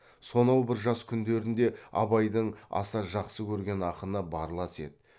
сонау бір жас күндерінде абайдың аса жақсы көрген ақыны барлас еді